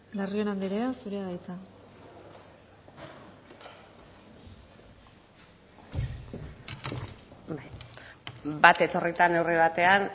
larrion anderea zurea da hitza bat etorrita neurri batean